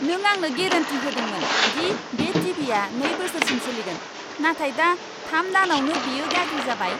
नों आंनो गेरेन्टि होदोंमोन दि बे टि.भि.आ नै बोसोरसिम सोलिगोन, नाथाय दा थाम दानावनो बेयो गाज्रि जाबाय।